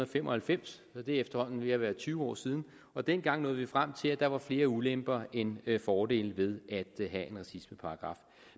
fem og halvfems så det er efterhånden ved at være tyve år siden og dengang nåede vi frem til at der var flere ulemper end fordele ved at have en racismeparagraf